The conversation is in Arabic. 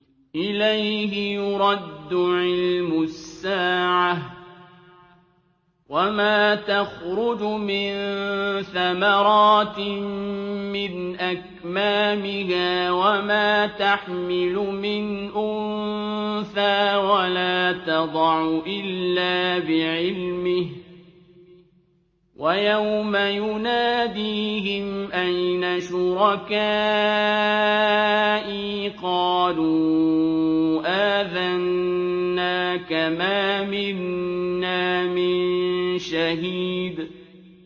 ۞ إِلَيْهِ يُرَدُّ عِلْمُ السَّاعَةِ ۚ وَمَا تَخْرُجُ مِن ثَمَرَاتٍ مِّنْ أَكْمَامِهَا وَمَا تَحْمِلُ مِنْ أُنثَىٰ وَلَا تَضَعُ إِلَّا بِعِلْمِهِ ۚ وَيَوْمَ يُنَادِيهِمْ أَيْنَ شُرَكَائِي قَالُوا آذَنَّاكَ مَا مِنَّا مِن شَهِيدٍ